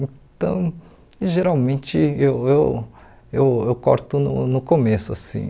Então, geralmente, eu eu eu eu corto no no começo, assim.